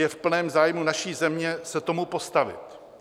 Je v plném zájmu naší země se tomu postavit.